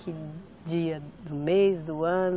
Que dia do mês, do ano?